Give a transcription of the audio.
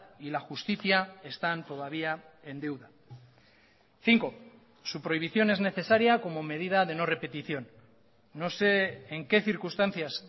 y la justicia están todavía en deuda cinco su prohibición es necesaria como medida de no repetición no sé en qué circunstancias